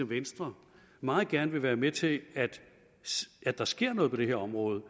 venstre meget gerne vil være med til at der sker noget på det her område